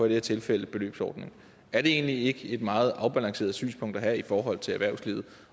det her tilfælde beløbsordningen er det egentlig ikke et meget afbalanceret synspunkt at have i forhold til erhvervslivet